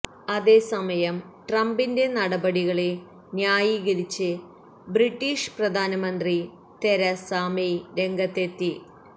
അതേസമയം ട്രംപിന്റെ നടപടികളെ ന്യായീകരിച്ച് ബ്രീട്ടീഷ് പ്രധാനമന്ത്രി തെരസ മെയ് രംഗത്തെത്തി